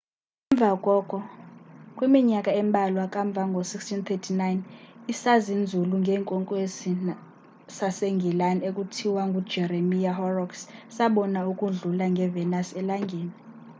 emva koko kwiminyaka embalwa kamva ngo-1639 isazinzulu ngeenkwenkwezi sasengilani ekuthiwa ngujeremiah horrocks sabona ukudlula kwe-venus elangeni